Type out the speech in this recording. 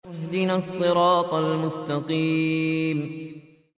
اهْدِنَا الصِّرَاطَ الْمُسْتَقِيمَ